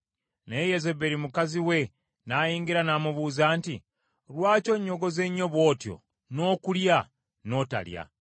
Naye Yezeberi mukazi we n’ayingira, n’amubuuza nti, “Lwaki onnyogoze nnyo bw’otyo n’okulya n’otalya?”